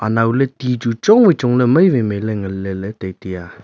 anaw ley ti chu chong wai chong ley mai wai mai ley ngan leley tai taiya.